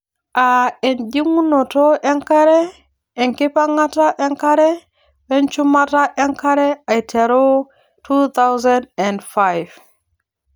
aa ejing'unoto enkare, enkipang'ata enkare, we nchumata enkare aiteru 2005